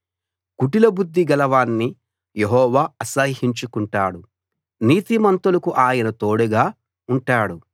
కుటిల బుద్ధి గలవాణ్ణి యెహోవా అసహ్యించుకుంటాడు నీతిమంతులకు ఆయన తోడుగా ఉంటాడు